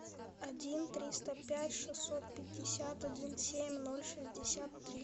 один триста пять шестьсот пятьдесят один семь ноль шестьдесят три